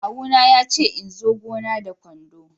kawu na ya ce in zo gona da kwando.